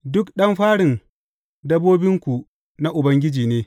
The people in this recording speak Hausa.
Duk ɗan farin dabbobinku na Ubangiji ne.